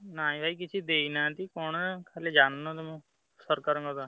ନାଇଁ ଭାଇ କିଛି ଦେଇନାହାନ୍ତି କଣ ଖାଲି ଜାଣିନ ତମେ ସରକାରଙ୍କର।